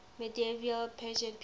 medieval persian people